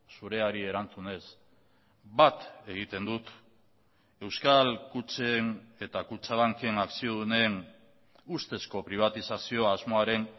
zureari erantzunez bat egiten dut euskal kutxen eta kutxabanken akziodunen ustezko pribatizazio asmoaren